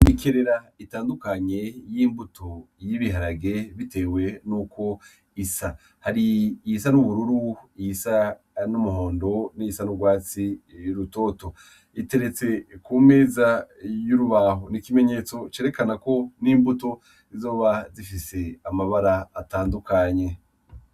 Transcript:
Ikerera itandukanye y'imbuto y'ibiharage, bitewe n'uko isa hari iy isa n'ubururu iyisa n'umuhondo n'isa n'urwatsi y'urutoto iteretse ku meza y'urubaho n'ikimenyetso cerekana ko n'imbuto izoba zifise amabara atandukane anye.